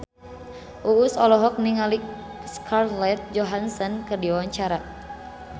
Uus olohok ningali Scarlett Johansson keur diwawancara